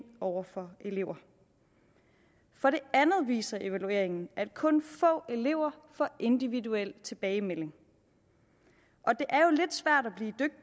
over for elever for det andet viser evalueringen at kun få elever får individuel tilbagemelding og det